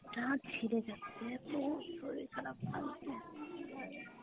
ব্যাথা ছিরে যাচ্ছে, খুব শরীর খারাপ লাগছে।